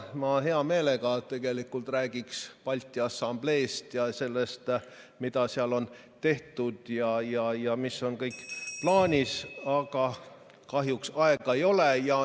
Ma hea meelega tegelikult räägiksin Balti Assambleest ja sellest, mida seal on tehtud ja mis on kõik plaanis, aga kahjuks rohkem aega ei ole.